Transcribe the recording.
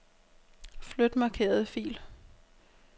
Flyt markerede fil.